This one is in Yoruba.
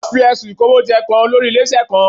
Wọ́n fi ẹ̀sùn Ìkówójẹ kan olórí ilé-iṣẹ́ kan